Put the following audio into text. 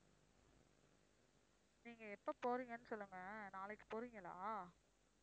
நீங்க எப்ப போறீங்கன்னு சொல்லுங்க நாளைக்கு போறீங்களா?